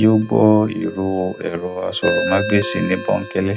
yóó gbọ ìró èrọ aṣọròmágbèsì ní bóńkẹlẹ